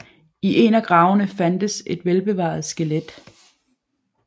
I en af gravene fandtes et velbevaret skelet